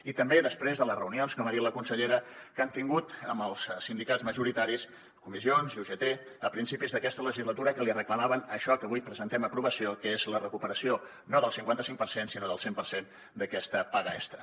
i també després de les reunions com ha dit la consellera que han tingut amb els sindicats majoritaris comissions i ugt a principis d’aquesta legislatura que li reclamaven això que avui presentem a aprovació que és la recuperació no del cinquanta cinc per cent sinó del cent per cent d’aquesta paga extra